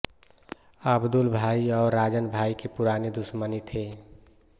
अब्दुल भाई और राजन भाई की पुरानी दुश्मनी थी